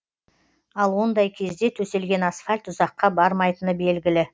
ал ондай кезде төселген асфальт ұзаққа бармайтыны белгілі